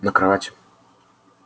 на кровати